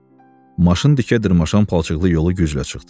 Maşın dikə dırmaşan palçıqlı yolu güclə çıxdı.